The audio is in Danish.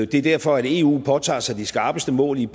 det er derfor eu har påtaget sig de skarpeste mål i